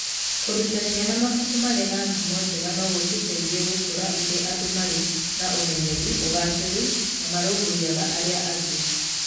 Kũruta ciana mabuku marĩ na ngumo njega no gũciteithie gũkũra irĩ andũ marĩ na ũmenyeru, ũgaacĩru, na marũmbũyagia arĩa angĩ.